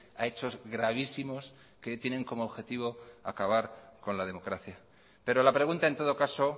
a hechos gravísimos que tienen como objetivo acabar con la democracia pero la pregunta en todo caso